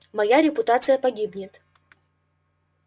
моя репутация погибнет